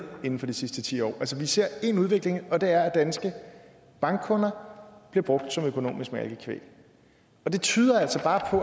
inden for de sidste ti år vi ser én udvikling og det er at danske bankkunder bliver brugt som økonomisk malkekvæg det tyder altså bare